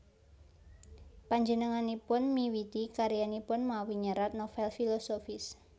Panjenenganipun miwiti karyanipun mawi nyerat novèl filosofis